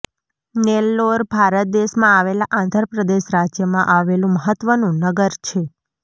નેલ્લોર ભારત દેશમાં આવેલા આંધ્ર પ્રદેશ રાજ્યમાં આવેલું મહત્વનું નગર છે